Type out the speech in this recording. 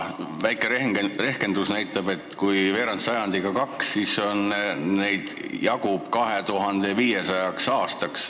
Väike rehkendus näitab, et kui veerand sajandiga on läinud vaja kaht, siis neid jagub 2500 aastaks.